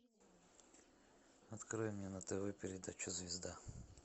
открой мне на тв передачу звезда